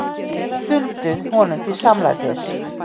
Hinir stundu honum til samlætis.